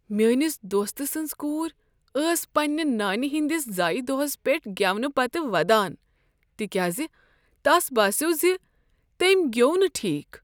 میٲنس دوست سٕنٛز کور ٲس پننہ نانہ ہنٛدس زایہ دوہس پیٹھ گیونہٕ پتہٕ ودان تکیاز تس باسیٛوو ز تٔمۍ گیوٚو نہٕ ٹھیک۔